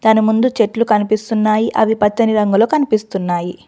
దాని ముందు చెట్లు కనిపిస్తున్నాయి అవి పచ్చని రంగులు కనిపిస్తున్నాయి.